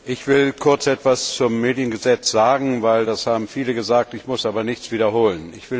Ich will kurz etwas zum Mediengesetz sagen, denn das haben viele gesagt, ich muss aber nichts wiederholen.